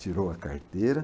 Tirou a carteira.